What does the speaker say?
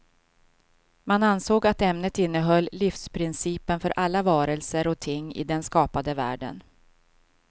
Man ansåg att ämnet innehöll livsprincipen för alla varelser och ting i den skapade världen.